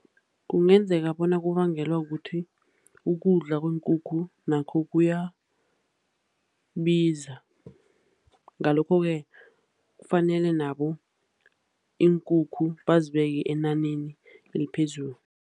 Kungenzeka bona kubangelwa kukuthi ukudla kweenkukhu nakho kuyabiza. Ngalokho-ke kufanele nabo iinkukhu bazibeke enaneni eliphezulu.